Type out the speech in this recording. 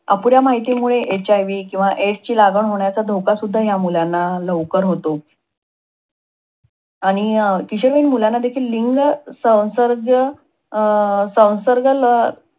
अपुऱ्या माहितीमुळे HIV किंवा AIDS ची लागण होण्याचा धोका सुध्दा ह्या मुलांना लवकर होतो.